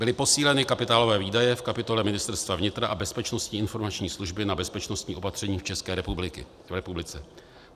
Byly posíleny kapitálové výdaje v kapitole Ministerstva vnitra a Bezpečnostní informační služby na bezpečnostní opatření v České republice.